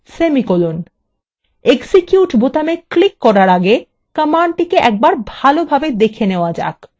execute বোতামে click করার আগে কমান্ডটিকে একবার ভালোভাবে দেখে নেওয়া যাক